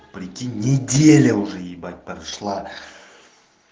прикинь неделя уже ебать прошла